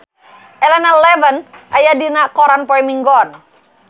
Elena Levon aya dina koran poe Minggon